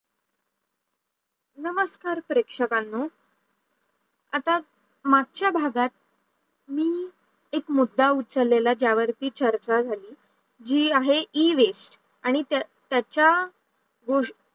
नमस्कार प्रक्षकांनो, आता मागचा भागात मी एक मुद्दा उचलेला ज्या वरती चर्चा झालेली हे आणे e-waste आणी त्याचा